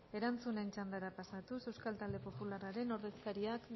erantzunen txandara pasatuz euskal talde popularraren ordezkariak